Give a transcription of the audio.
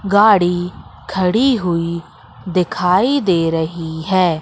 गाड़ी खड़ी हुई दिखाई दे रही है।